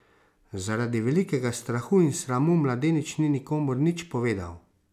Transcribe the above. Zaradi velikega strahu in sramu, mladenič ni nikomur nič povedal.